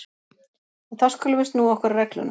En þá skulum við snúa okkur að reglunum.